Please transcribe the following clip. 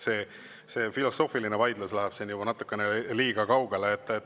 See filosoofiline vaidlus läheb siin juba natukene liiga kaugele.